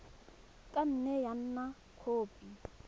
ka nne ya nna khopi